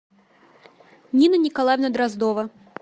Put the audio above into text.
нина николаевна дроздова